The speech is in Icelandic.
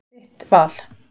Þitt val.